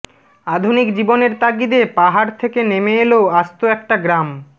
আধুনিক জীবনের তাগিদে পাহাড় থেকে নেমে এল আস্ত একটা গ্রাম